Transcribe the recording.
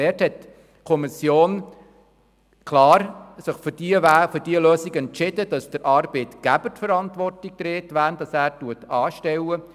Die Kommission hat sich klar für die Lösung entschieden, dass der Arbeitgeber die alleinige Verantwortung für die Personen trägt, die er anstellt.